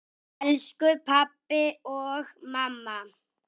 Elsku pabbi og mamma.